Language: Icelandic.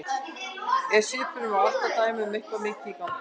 Eftir svipnum á Atla að dæma er eitthvað mikið í gangi.